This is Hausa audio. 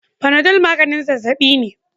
Panadol maganin zazzabi ne.